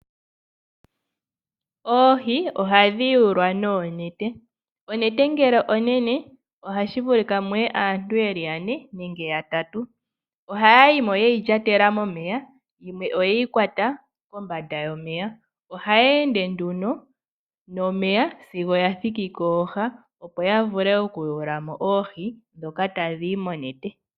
Oohi ohadhi yuulwa noonete. Onete ngele onene ohashi vulika muye aantu yeli yane nenge yatatu. Ohaya yimo yeyi lyatela momeya, yo oyeyi kwata kombanda yomeya. Ohaya ende nduno nomeya, sigo ya thiki kooha opo ya vule oku yuula mo oohi ndhoka tadhi zi monete.